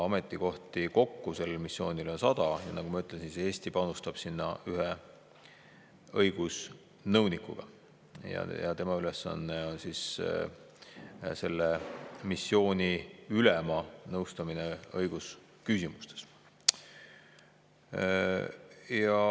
Ametikohti kokku sel missioonil on 100 ja nagu ma ütlesin, Eesti panustab sinna ühe õigusnõunikuga ja tema ülesanne on selle missiooni ülema nõustamine õigusküsimustes.